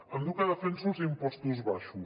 em diu que defenso els impostos baixos